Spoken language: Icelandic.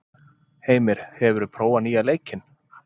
Heimir, hefur þú prófað nýja leikinn?